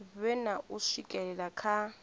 vhe na u swikelela kha